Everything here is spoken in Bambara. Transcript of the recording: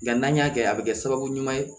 Nka n'an y'a kɛ a bɛ kɛ sababu ɲuman ye